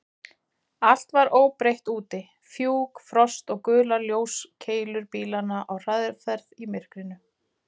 Allt var óbreytt úti: fjúk, frost og gular ljóskeilur bílanna á hraðferð í myrkrinu.